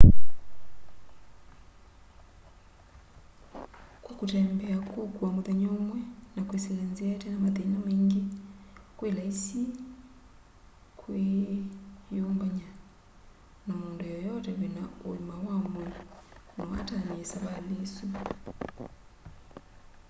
kwa kũtembea kũũkũa mũthenya ũmwe na kwisila nzia itena mathĩna maĩngĩ kwĩ laisi kwĩ yũmbanya na mũndũ yeyote wĩna ũĩma wa mwĩĩ no atanĩe savalĩ ĩsũ